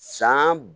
San